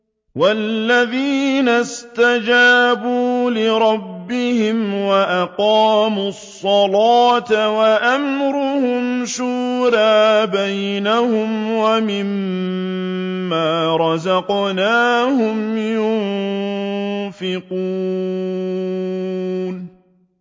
وَالَّذِينَ اسْتَجَابُوا لِرَبِّهِمْ وَأَقَامُوا الصَّلَاةَ وَأَمْرُهُمْ شُورَىٰ بَيْنَهُمْ وَمِمَّا رَزَقْنَاهُمْ يُنفِقُونَ